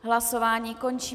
Hlasování končím.